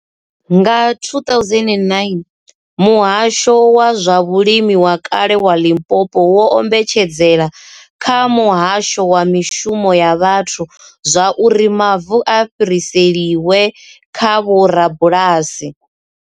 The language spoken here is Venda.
Nga 2009, Muhasho wa zwa Vhulimi wa kale wa Limpopo wo ombedzela kha Muhasho wa Mishumo ya Vhathu zwa uri mavu a fhiriselwe kha vhorabulasi.